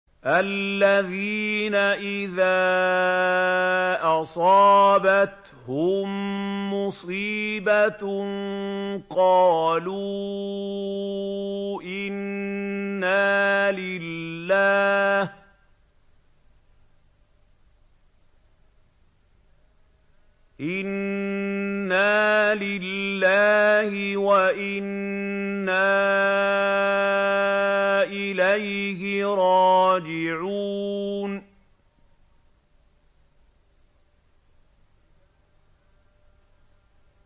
الَّذِينَ إِذَا أَصَابَتْهُم مُّصِيبَةٌ قَالُوا إِنَّا لِلَّهِ وَإِنَّا إِلَيْهِ رَاجِعُونَ